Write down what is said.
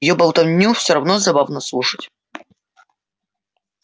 её болтовню всё равно забавно слушать